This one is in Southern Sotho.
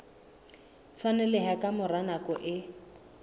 tshwaneleha ka mora nako e